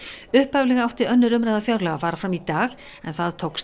upphaflega átti önnur umræða fjárlaga að fara fram í dag en það tókst